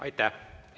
Aitäh!